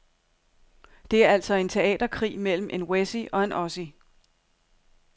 Det er altså en teaterkrig mellem en wessie og en ossie.